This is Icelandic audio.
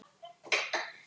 Ekki gerir þú það!